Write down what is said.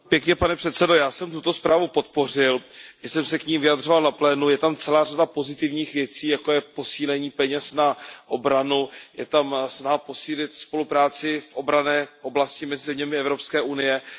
Pane předsedající, já jsem tuto zprávu podpořil, už jsem se k ní vyjadřoval na plénu, je tam celá řada pozitivních věcí, jako je posílení peněz na obranu, je tam snaha posílit spolupráci v obranné oblasti, myslím tím i EU.